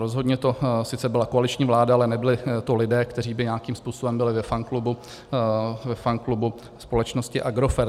Rozhodně to sice byla koaliční vláda, ale nebyli to lidé, kteří by nějakým způsobem byli ve fanklubu společnosti Agrofert.